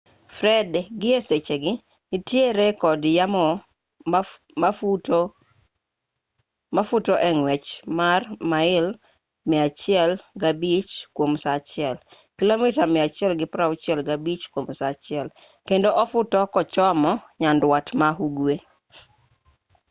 fred gi e sechegi nitiere kod yamo mafuto e ng'wech mar mail 105 kwom saa achiel kilomita 165 kwom saa achiel kendo ofuto kochomo nyandwat ma ugwe